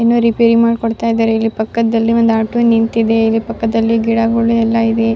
ಇನ್ನು ರಿಪೇರಿ ಮಾಡಿ ಕೊಡ್ತಾ ಇದ್ದಾರೆ ಇಲ್ಲಿ ಪಾಕದಲ್ಲಿ ಒಂದು ಆಟೋ ನಿಂತಿದೆ ಇಲ್ಲಿ ಪಕ್ಕದಲ್ಲಿ ಗಿಡಗಳು ಎಲ್ಲ ಇದೆ.